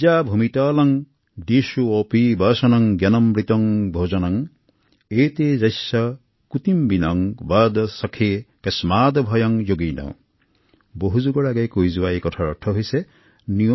শতিকা পূৰ্বে প্ৰকাশিত এই পৰ্যবেক্ষণ এতিয়াও প্ৰযোজ্য